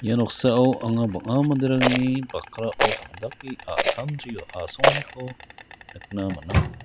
ia noksao anga bang·a manderangni bakrao tom·dake a·samdrio asonganiko nikna man·a.